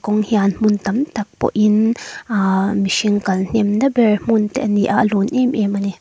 hian hmun tam tak pawh in aa mihring kalhnem na ber hmun te a ni a a lun em em a ni.